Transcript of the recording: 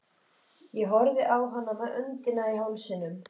Ég horfði á hana með öndina í hálsinum.